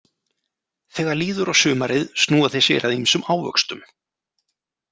Þegar líður á sumarið snúa þeir sér að ýmsum ávöxtum.